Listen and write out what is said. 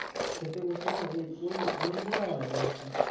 খেতে বসে না ওই আনন্দটা আলাদা আরকি